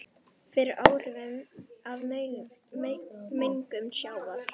fyrir áhrifum af mengun sjávar.